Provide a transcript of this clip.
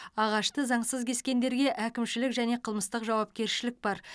ағашты заңсыз кескендерге әкімшілік және қылмыстық жауапкершілік бар